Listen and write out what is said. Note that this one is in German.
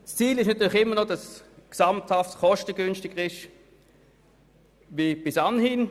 ICT-Strategie, Das Ziel ist natürlich immer noch, dass dies insgesamt kostengünstiger wird als bis anhin.